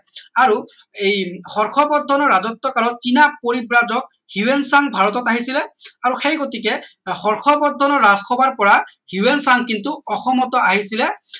আৰু এই হৰ্ষবৰ্ধনৰ ৰাজত্ব কালত চীনা পৰিব্ৰাজক হিউৱেন চাং ভাৰতত আহিছিলে আৰু সেই গতিকে হৰ্ষবৰ্ধনৰ ৰাজ সভাৰ পৰা হিউৱেন চাং কিন্তু অসমতো পৰা আহিছিলে